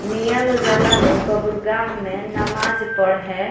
मिया लोग जाला लोग कब्रगाह में नमाज़ पढ़े।